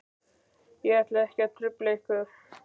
Ég ætla ekki að trufla ykkur.